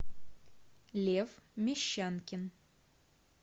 лев мещанкин